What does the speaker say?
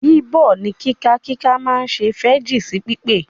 Bíbọ̀ ní kíkà kíkà máa se fẹ́jì sí pípé